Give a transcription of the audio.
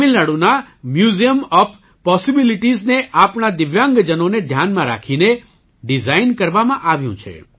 તમિલનાડુના museum of possibilities ને આપણા દિવ્યાંગજનોને ધ્યાનમાં રાખીને ડિઝાઇન કરવામાં આવ્યું છે